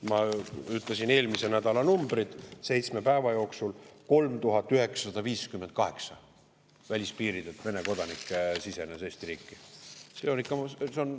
Ma ütlesin eelmise nädala numbrid: seitsme päeva jooksul sisenes välispiiridel Eesti riiki 3958 Vene kodanikku.